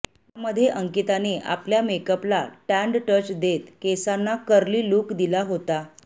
यामध्ये अंकिताने आपल्या मेकअपला टॅन्ड टच देत केसांना कर्ली लुक दिला होता